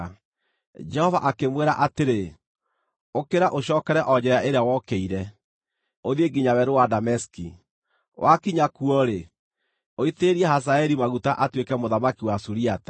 Jehova akĩmwĩra atĩrĩ, “Ũkĩra ũcookere o njĩra ĩrĩa wokĩire, ũthiĩ nginya Werũ wa Dameski. Wakinya kuo-rĩ, ũitĩrĩrie Hazaeli maguta atuĩke mũthamaki wa Suriata.